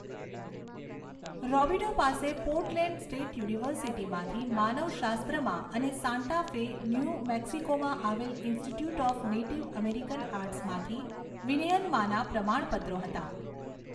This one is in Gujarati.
રૉબિડો પાસે પોર્ટલેન્ડ સ્ટેટ યુનિવર્સિટીમાંથી માનવશાસ્ત્રમાં અને સાન્ટા ફે, ન્યૂ મેક્સિકોમાં આવેલ ઈન્સ્ટિટ્યૂટ ઑફ નેટિવ અમેરિકન આર્ટ્સમાંથી વિનયનમાંનાં પ્રમાણપત્રો હતાં